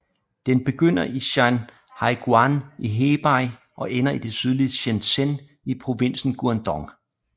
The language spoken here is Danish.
Den begynder i Shanhaiguan i Hebei og ender i det sydlige Shenzhen i provinsen Guangdong